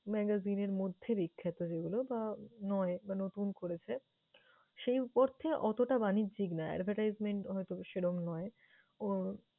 magazine এর মধ্যে বিখ্যাত যেগুলো বা নয় বা নতুন করেছে। সেই অর্থে অতটা বাণিজ্যিক না, advertisement হয়তো সেরম নয়। ওর